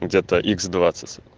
где-то икс двадцать